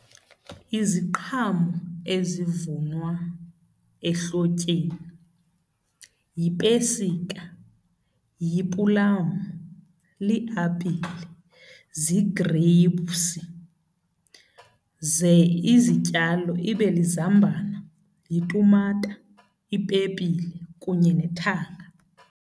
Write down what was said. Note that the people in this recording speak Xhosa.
Iziqhamo ezivunwa ehlotyeni yipesika, yipulamu, liapile, zii-grapes. Ze izityalo ibe lizambane, yitumata, ipepile kunye nethanga.